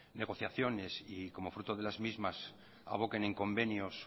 negociaciones y como fruto de las mismas aboquen en convenios